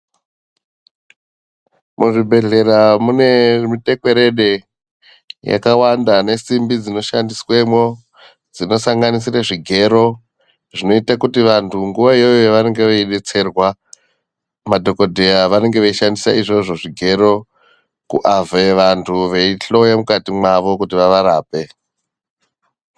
Muzvibhedhlera mune mutekwerede yakawanda nesimbi dzinoshandiswemwo. Dzinosanganisire zvigero zvinote kuti vantu nguva iyoyo yavanenge veibetserwa madhogodhera vanenge veishandisa izvozvo zvigero, kuavhe vantu veihloya mukati mwavo kuti vavarape.